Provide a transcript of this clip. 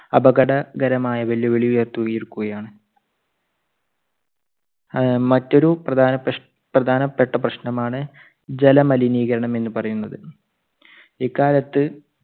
അപകട~കരമായ വെല്ലുവിളി ഉയർത്തുയിരിക്കയാണ്. ആഹ് മറ്റൊരു പ്രധാനപെഷ് പ്രധാനപെട്ട പ്രശ്നമാണ് ജലമലിനീകരണം എന്ന് പറയുന്നത്. ഇക്കാലത്ത്